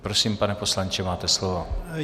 Prosím, pane poslanče, máte slovo.